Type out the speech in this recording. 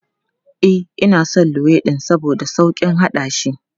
E, ina son luwaiɗin saboda sauƙin haɗashi.